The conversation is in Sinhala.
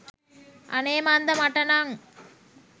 අනේ මන්දා මට නම්